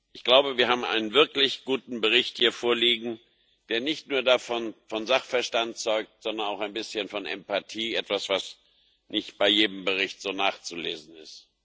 Ich glaube, wir haben hier einen wirklich guten Bericht vorliegen, der nicht nur von Sachverstand zeugt, sondern auch ein bisschen von Empathie etwas, was nicht bei jedem Bericht so nachzulesen ist.